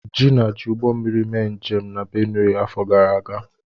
Gina ji Ụgbọmmiri mee njem na Benue afọ gara aga.